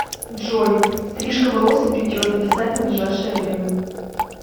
джой стрижка волос и бритье записать на ближайшее время